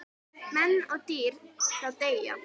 Menn og dýr þá deyja.